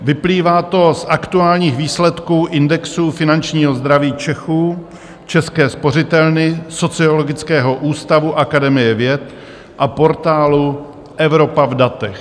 Vyplývá to z aktuálních výsledků indexu finančního zdraví Čechů České spořitelny, Sociologického ústavu Akademie věd a portálu Evropa v datech.